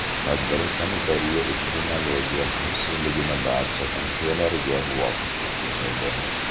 Tadbir sanitariya-epidemiologiya xavfsizligini barcha tavsiyalarga muvofiq o‘tkazildi.